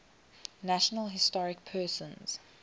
national historic persons